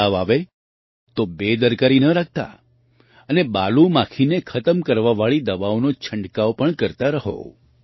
તાવ આવે તો બેદરકારી ન રાખતા અને બાલુ માખીને ખતમ કરવાવાળી દવાઓનો છંટકાવ પણ કરતા રહો